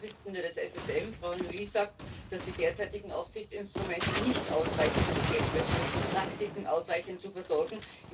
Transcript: Die Vorsitzende des SSM, Frau Nouy sagt, dass die derzeitigen Aufsichtsinstrumente nicht ausreichen, um Geldwäschepraktiken ausreichend zu versorgen.